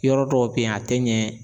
Yɔrɔ dɔw be yen, a tɛ ɲɛ